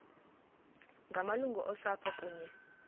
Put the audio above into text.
ngamalungu osapho kunye